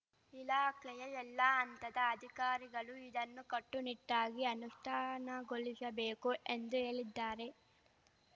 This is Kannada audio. ಇಲಾಖೆಯ ಎಲ್ಲಾ ಹಂತದ ಅಧಿಕಾರಿಗಳು ಇದನ್ನು ಕಟ್ಟುನಿಟ್ಟಾಗಿ ಅನುಷ್ಠಾನಗೊಳಿಶಬೇಕು ಎಂದು ಹೇಳಿದ್ದಾರೆ